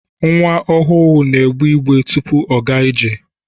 Nwa ọhụụ n'egbe igbe tụpụ ọ gaa ije.